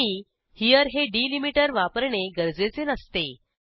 नेहमी हेरे हे डिलिमीटर वापरणे गरजेचे नसते